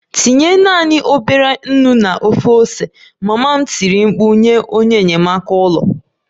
Tinye naanị obere nnu na ofe ose! Mama m tiri mkpu nye onye enyamaka ụlọ